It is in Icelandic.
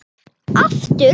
Og aftur.